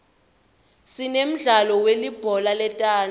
sinemdlalo welibhola letandza